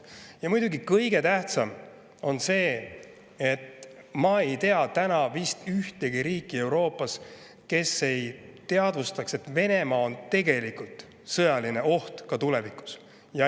Ja muidugi kõige tähtsam on see, et ma ei tea täna Euroopas vist ühtegi riiki, kes ei teadvustaks, et Venemaa on tegelikult sõjaline oht Euroopale ka tulevikus.